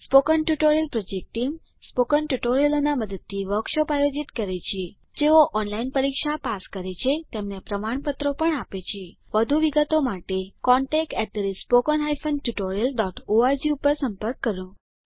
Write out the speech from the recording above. spoken tutorial project team spoken ટ્યુટોરીયલોનાં મદદથી વર્કશોપોનું આયોજન કરે છે જેઓ ઓનલાઈન પરીક્ષા પાસ કરે છે તેમને પ્રમાણપત્રો આપે છે વધુ વિગત માટે contactspoken tutorialorg ઉપર સંપર્ક કરો